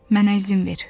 Mənə izin ver.